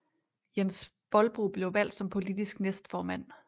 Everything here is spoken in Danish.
Jens bohlbro blev valgt som politisk næstformand